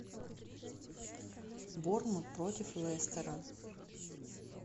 борнмут против лестера